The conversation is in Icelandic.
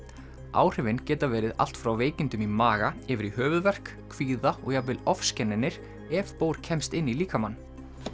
áhrifin geta verið allt frá veikindum í maga yfir í höfuðverk kvíða og jafnvel ofskynjanir ef bór kemst inn í líkamann